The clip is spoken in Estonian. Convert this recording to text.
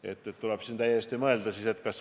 sarnasel juhul Riigikogust.